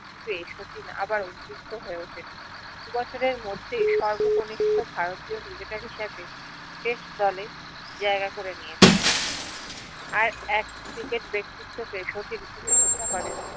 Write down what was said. চিঠি পেয়ে শচীন আবার উতবৃত্ত হয়ে উঠেন দু বছরের মধ্যেই সর্বকনিষ্ঠ ভারতীয় ক্রিকেটার হিসেবে test দলে জায়গা করে নিয়েছিলেন আর এক ক্রিকেট ব্যাক্তিতো কে শচীন খুবি শ্রদ্ধা করেন